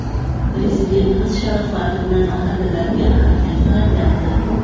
Prezidentimiz sharofati bilan mahallalarga ahamiyat qaratilyapti.